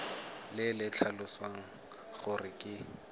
le le tlhalosang gore ke